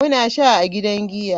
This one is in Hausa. Muna sha a gidan giya.